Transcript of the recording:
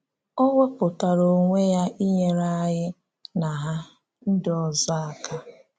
Ọ wepụtara onwe ya inyére ànyí na Ha ndị ọzọ àká.